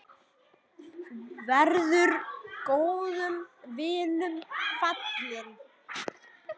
Verður góðum vinum falinn.